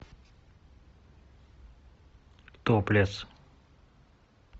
топлес